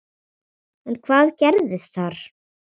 En hvað gerðist þar?